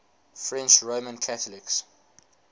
french roman catholics